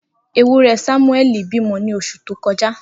Ewúrẹ́ Samueli bímọ ní oṣù tó kọjá.